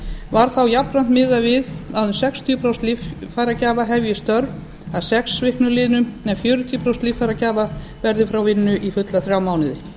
var þá jafnframt miðað við að um sextíu prósent líffæragjafa hefji störf að sex viknum liðnum en fjörutíu prósent líffæragjafa verði frá vinnu í fulla þrjá mánuði